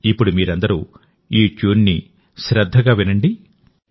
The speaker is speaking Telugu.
ఇప్పుడు మీరందరూ ఈ ట్యూన్ ని శ్రద్ధగా వినండి